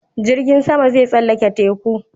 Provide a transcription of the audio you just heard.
Jirgin sama zai tsallake teku